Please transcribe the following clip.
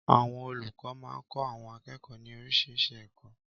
Àwọn olùkọ́ máa ń kọ́ àwọn akẹ́kọ̀ọ́ ní oríṣiríṣi ẹ̀kọ́.